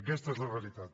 aquesta és la realitat